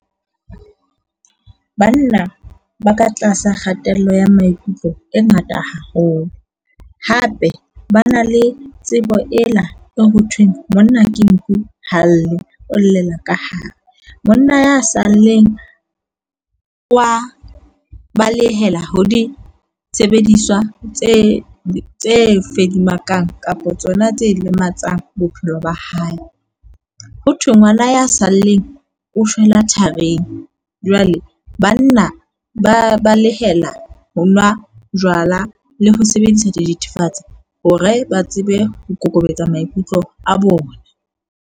Banna ba ka tlasa kgatello ya maikutlo e ngata haholo. Hape ba na le tsebo ena e hothweng monna ke nku ha lle o llela ka hare. Monna ya saleng wa balehela ho di sebediswa tse tse fedimakang kapa tsona tse lematsang bophelo ba hae. Ho thwe ngwana ya saleng o shwela tharing. Jwale banna ba balehela ho nwa jwala le ho sebedisa dithethefatsi hore ba tsebe ho kokobetsa maikutlo a bona.